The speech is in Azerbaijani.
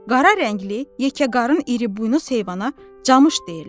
Qara rəngli, yekə qarın iri buynuz heyvana camış deyirlər.